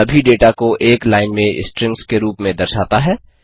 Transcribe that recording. सभी डेटा को एक लाइन में स्ट्रिंग्स के रूप में दर्शाता है